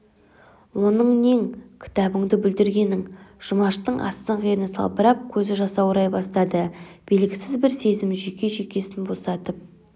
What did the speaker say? оның нең кітабыңды бүлдіргенің жұмаштың астыңғы ерні салбырап көзі жасаурай бастады белгісіз бір сезім жүйке-жүйкесін босатып